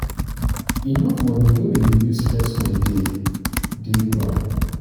enough money wey we go use flex holiday dey on ground.